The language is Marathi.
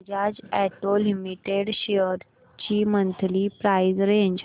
बजाज ऑटो लिमिटेड शेअर्स ची मंथली प्राइस रेंज